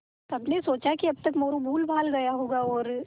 सबने सोचा कि अब तक मोरू भूलभाल गया होगा और